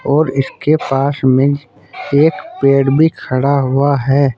और इसके पास में एक पेड़ भी खड़ा हुआ है।